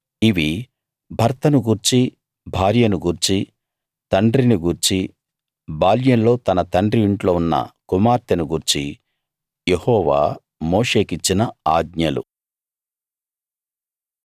ఇవి భర్తను గూర్చీ భార్యను గూర్చీ తండ్రిని గూర్చీ బాల్యంలో తన తండ్రి ఇంట్లో ఉన్న కుమార్తెను గూర్చీ యెహోవా మోషేకిచ్చిన ఆజ్ఞలు